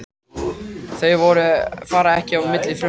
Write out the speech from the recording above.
Þau fara ekki á milli frumna.